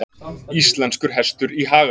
Íslenskur hestur í haga.